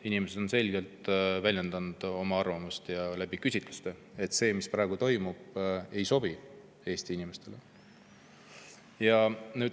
Inimesed on küsitlustes selgelt väljendanud oma arvamust, et see, mis praegu toimub, ei sobi Eesti inimestele.